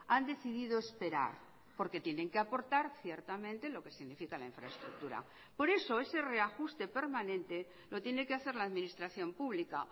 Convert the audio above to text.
han decidido esperar porque tienen que aportar ciertamente lo que significa la infraestructura por eso ese reajuste permanente lo tiene que hacer la administración pública